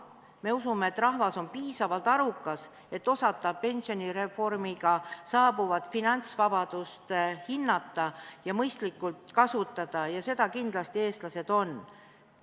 Me usume, et rahvas on piisavalt arukas, et osata pensionireformiga saabuvat finantsvabadust hinnata ja mõistlikult kasutada, ja seda kindlasti eestlased on.